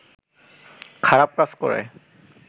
খারাপ কাজ করে